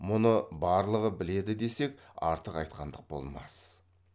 мұны барлығы біледі десек артық айтқандық болмас